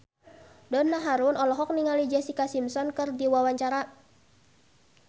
Donna Harun olohok ningali Jessica Simpson keur diwawancara